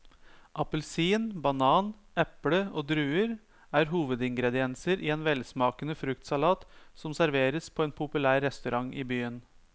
Appelsin, banan, eple og druer er hovedingredienser i en velsmakende fruktsalat som serveres på en populær restaurant i byen.